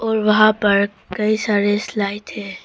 और वहां पर कई सारी स्लाइड है।